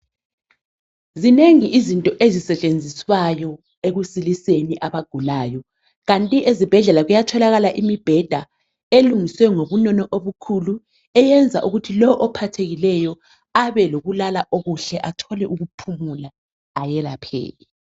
Zinengi izinto ezisetshenziswayo ekusiliseni abagulayo. Kanti ezibhedlela kuyatholakala imibheda elungiswe ngobunono obukhulu eyenza ukuthi lowo ophathekileyo abe lokulala okuhle athole ukuphumula ayelapheke.